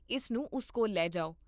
ਇਸ ਨੂੰ ਉਸ ਕੋਲ ਲੈ ਜਾਓ